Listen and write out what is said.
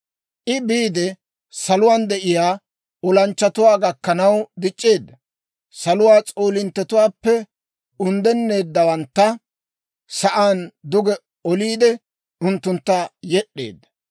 I biide saluwaan de'iyaa olanchchatuwaa gakkanaw dic'c'eedda; saluwaa s'oolinttetuwaappe unddennawantta sa'aan duge oliide, unttuntta yed'd'eedda.